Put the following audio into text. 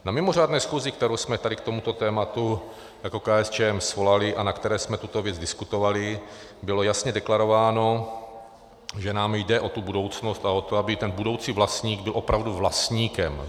Na mimořádné schůzi, kterou jsme tady k tomuto tématu jako KSČM svolali a na které jsme tuto věc diskutovali, bylo jasně deklarováno, že nám jde o tu budoucnost a o to, aby ten budoucí vlastník byl opravdu vlastníkem.